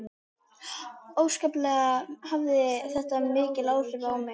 Óskaplega hafði þetta mikil áhrif á mig.